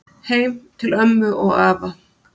Heim til ömmu og afa.